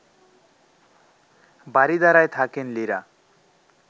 বারিধারায় থাকেন লিরা